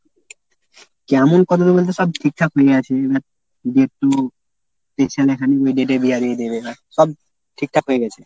কেমন কতদূর বলতে সব ঠিকঠাক হয়ে আছে সব ঠিকঠাক হয়ে গেছে